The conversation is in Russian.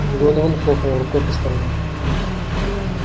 донован хлопнул рукой по столу